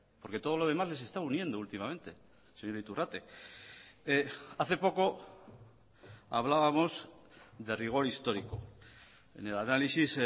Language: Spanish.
porque todo lo demás les está uniendo últimamente señor iturrate hace poco hablábamos de rigor histórico en el análisis